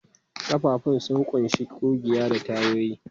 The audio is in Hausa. Ƙafafun sun ƙunshi ƙugiya da tayoyi.